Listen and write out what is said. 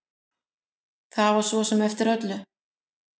Það var svo sem eftir öllu.